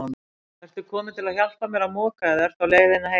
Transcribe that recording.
Ertu kominn til að hjálpa mér að moka eða ertu á leið heim?